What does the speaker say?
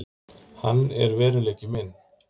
Hann er veruleiki minn.